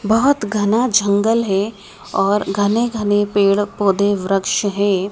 बहोत घना जंगल है और घने घने पेड़ पौधे वृक्ष है।